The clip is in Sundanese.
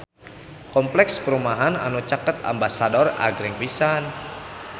Kompleks perumahan anu caket Ambasador agreng pisan